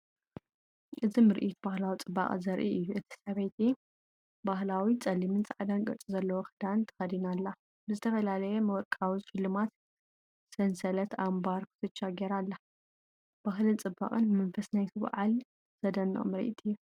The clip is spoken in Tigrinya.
እዚ ምርኢት ባህላዊ ጽባቐ ዘርኢ እዩ። እቲ ሰበይቲ ባህላዊ ጸሊምን ጻዕዳን ቅርጺ ዘለዎ ክዳን ተኸዲና ኣላ፡ ብዝተፈላለየ ወርቃዊ ሽልማት - ሰንሰለት፡ ኣምባር፡ ኩትቻ ገይራ ኣላ። ባህልን ጽባቐን መንፈስ ናይቲ በዓልን ዘደንቕ ምርኢት እዩ።